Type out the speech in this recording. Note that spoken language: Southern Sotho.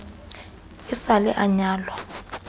e sa le a nyalwa